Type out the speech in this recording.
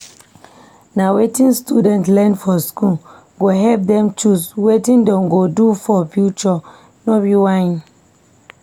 Na wetin students learn for school go help dem choose wetin dem go do for future. no be whine